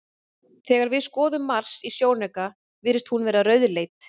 Berggangar eins og þessi myndast ofan í jörðu sem aðfærsluæðar kviku í eldstöðvum.